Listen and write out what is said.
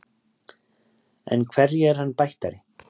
En hverju er hann bættari?